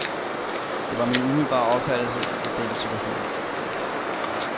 Det var min umiddelbare opfattelse af den situation.